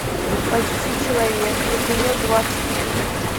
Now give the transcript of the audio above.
почти человек эпизод двадцать три